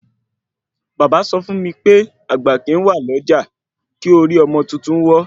Bàbá sọ fún mí pé àgbà kìí wà lọ́jà kí orí ọmọ tuntun wọ́